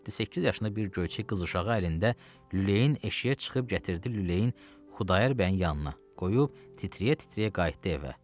Yeddi-səkkiz yaşında bir göyçək qız uşağı əlində lüləyin eşiyə çıxıb gətirdi lüləyin Xudayar bəyin yanına, qoyub titrəyə-titrəyə qayıtdı evə.